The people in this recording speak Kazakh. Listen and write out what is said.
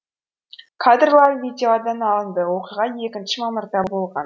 кадрлар видеодан алынды оқиға екінші мамырда болған